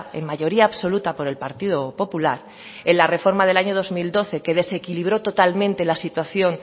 en mayoría absoluta por el partido popular en la reforma del año dos mil doce que desequilibró totalmente la situación